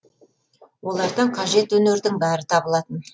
олардан қажет өнердің бәрі табылатын